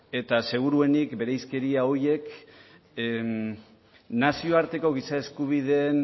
eta seguruenik bereizkeria horiek nazioarteko giza eskubideen